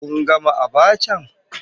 Kun gama abachan?